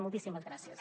moltíssimes gràcies